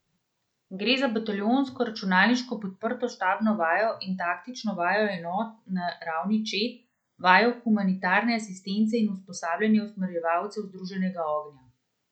Gre za bataljonsko računalniško podprto štabno vajo in taktično vajo enot na ravni čet, vajo humanitarne asistence in usposabljanje usmerjevalcev združenega ognja.